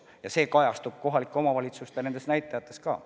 Ja see kajastub kohalike omavalitsuste näitajates ka.